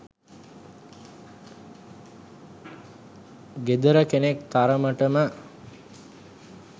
ගෙදර කෙනෙක් තරමටම